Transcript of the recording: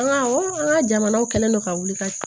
An ka an ka jamanaw kɛlen don ka wuli ka